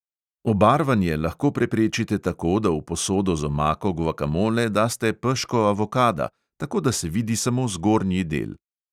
Obarvanje lahko preprečite tako, da v posodo z omako guakamole daste peško avokada, tako da se vidi samo zgornji del.